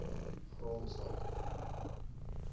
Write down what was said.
grondsake